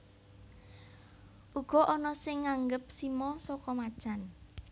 Uga ana sing nganggep simo saka macan